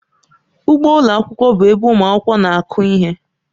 Ugbo ụlọ akwụkwọ bụ ebe ụmụ akwụkwọ na-akụ ihe.